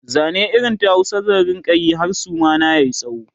Zane irin ta Hausa zan rinka Yi har Suma na yayi tsawo